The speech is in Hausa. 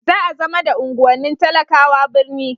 za a zama da unguwannin talakawa birni